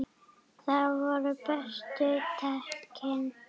Þar voru bestu tækin.